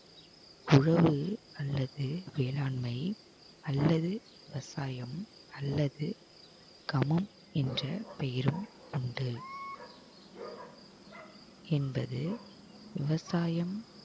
புலவு அல்லது வேளாண்மை அல்லது விவசாயம் அல்லது கமம் என்ற பெயரும் உண்டு என்பது விவசாயம்